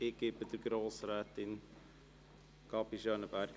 Ich erteile Ihnen das Wort.